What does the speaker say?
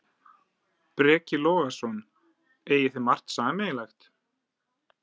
Breki Logason: Eigið þið margt sameiginlegt?